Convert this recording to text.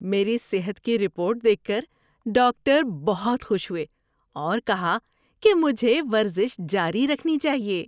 میری صحت کی رپورٹ دیکھ کر ڈاکٹر بہت خوش ہوئے اور کہا کہ مجھے ورزش جاری رکھنی چاہیے۔